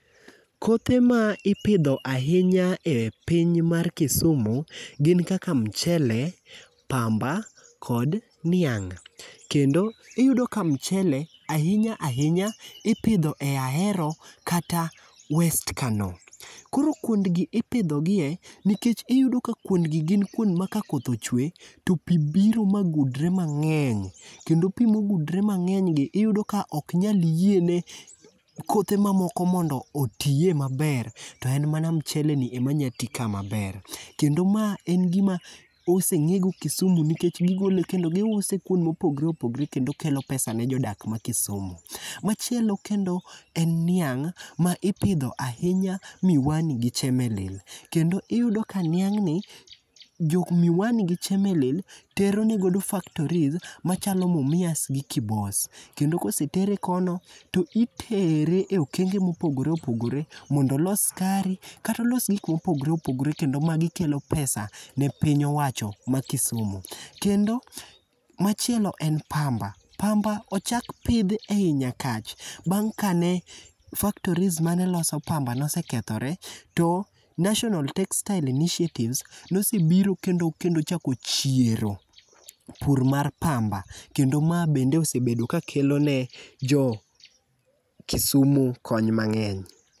Kothe ma ipidho ahinya e piny mar Kisumu gin kaka mchele, pamba kod niang'. Kendo iyudo ka mchele, ahiya ahinya ipidho e Ahero kata west Kano. Koro kuondgi ipidhogie, nikech iyudo ka kuondgi gin kuond ma ka koth ochwe, to pi biro ma gudre mangény. Kendo pii ma ogudre mangény gi, iyudo ka oknyal yie ne kothe ma moko mondo otie maber, to en mana mcheleni ema nyalo tii ka maber. Kendo ma en gima osengé go Kisumu nikech gigole kendo giuse kuonde ma opogore opogore, kendo kelo pesa ne jodak ma Kisumu. Machielo kendo en niang' ma ipidho ahinya Miwani gi Chemelil. Kendo iyudo ka niagn'ni, jok Miwani gi Chemelil teronegodo factories machalo Mumias gi Kibos. Kendo kosetere kono, to itere e okenge mopogore opogore, mondo olos skari, kata olos gik mopogore opogore. Kendo magi kelo pesa ne piny owacho ma Kisumu. Kendo machielo en pamba. Pamba ochak pidh ei Nyakach. Bang' ka ne factories maneloso pamba nosekethore, to National Textile Initiatives nosebiro kendo kendo ochak ochiero pur mar pamba. Kendo ma bende osebedo ka kelone jo Kisumu kony mangény.